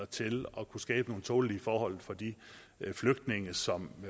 til at kunne skabe nogle tålelige forhold for de flygtninge som